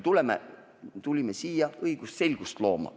Me tulime siia õigusselgust looma.